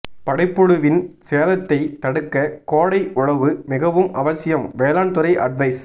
படைப்புழுவின் சேதத்தை தடுக்க கோடை உழவு மிகவும் அவசியம் வேளாண் துறை அட்வைஸ்